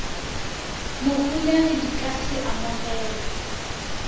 moholegi di ka se amogelwe